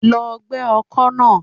Lọ gbẹ́ ọkọ́ náà.